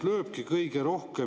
Nüüd, käibemaksust me enne rääkisime.